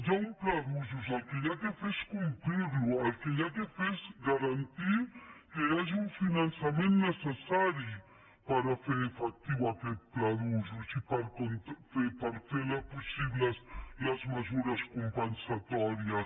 hi ha un pla d’usos el que s’ha de fer és complir lo el que s’ha de fer és garantir que hi hagi un finançament necessari per fer efectiu aquest pla d’usos i per fer possibles les mesures compensatòries